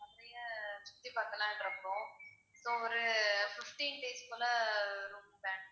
மதுரைய சுத்தி பாக்கலான்னு இருக்கோம். so ஒரு fifteen days போல room வேணும்.